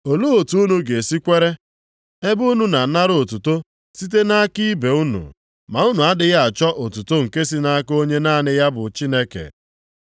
Olee otu unu ga-esi kwere ebe unu na-anara otuto site nʼaka ibe unu, ma unu adịghị achọ otuto nke si nʼaka onye naanị ya bụ Chineke?